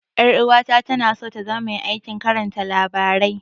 Ƴar'uwata tana so ta zama mai aikin karanta labarai.